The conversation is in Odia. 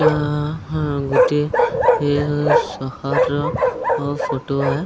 ଏଇଟା ଗୁଟେ ସହର ଫଟ ସେ --